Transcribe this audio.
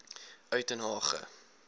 uitenhage